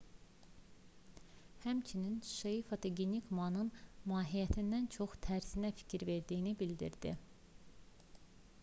həmçinin hsieh fotogenik manın mahiyyətindən çox tərzinə fikir verdiyini bildirdi